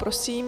Prosím.